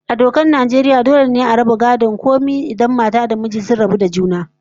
A dokar Najeriya ko dole ne a raba gadon komai tsakanin mata da miji idan sun rabu da juna?